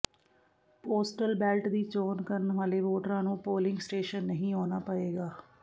postal ballot ਦੀ ਚੋਣ ਕਰਨ ਵਾਲੇ ਵੋਟਰਾਂ ਨੂੰ ਪੋਲਿੰਗ ਸਟੇਸ਼ਨ ਨਹੀਂ ਆਉਣਾ ਪਏਗਾ